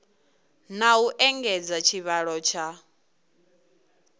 na u engedza tshivhalo tsha